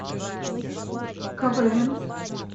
квн